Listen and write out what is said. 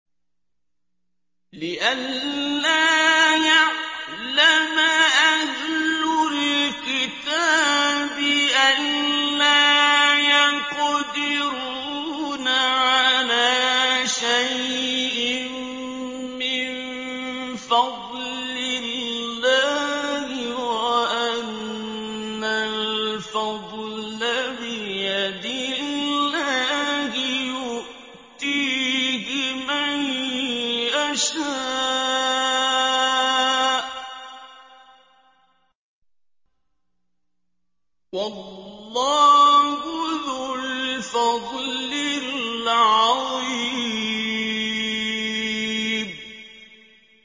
لِّئَلَّا يَعْلَمَ أَهْلُ الْكِتَابِ أَلَّا يَقْدِرُونَ عَلَىٰ شَيْءٍ مِّن فَضْلِ اللَّهِ ۙ وَأَنَّ الْفَضْلَ بِيَدِ اللَّهِ يُؤْتِيهِ مَن يَشَاءُ ۚ وَاللَّهُ ذُو الْفَضْلِ الْعَظِيمِ